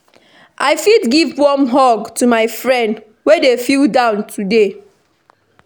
I fit give warm hug to my friend wey dey feel down today.